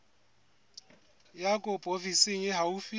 ya kopo ofising e haufi